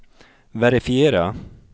verifiera